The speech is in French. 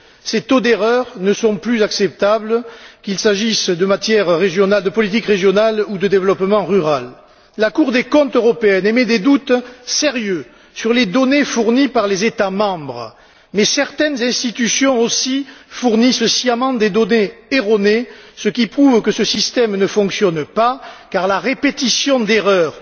Ces taux d'erreur ne sont plus acceptables, qu'il s'agisse de politique régionale ou de développement rural. La Cour des comptes européenne émet des doutes sérieux sur les données fournies par les États membres. Mais certaines institutions aussi fournissent sciemment des données erronées, ce qui prouve que ce système ne fonctionne pas, car la répétition d'erreurs